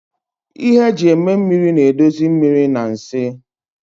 Ihe eji eme mmiri na-edozi mmiri na nsị